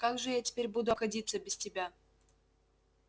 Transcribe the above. как же я теперь буду обходиться без тебя